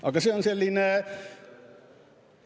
Aga see on selline ...